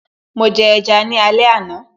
Mo jẹ ẹja ni alẹ́ àná